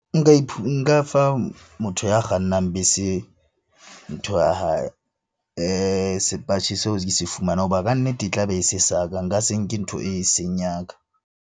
Nka fa motho ya kgannang bese ntho ya hae sepatjhe seo ke se hoba kannete e tla be e se sa ka, nka se nke ntho eseng ya ka.